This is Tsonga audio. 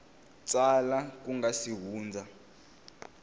tsala ku nga si hundza